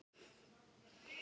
Ertu með gest hjá þér